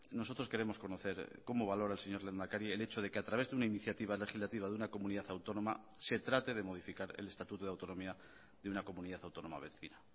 nosotros queremos conocer cómo valora el señor lehendakari el hecho de que a través de una iniciativa legislativa de una comunidad autónoma se trate de modificar el estatuto de autonomía de una comunidad autónoma vecina